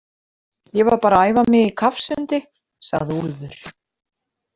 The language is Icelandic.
Ég var bara að æfa mig í kafsundi, sagði Úlfur.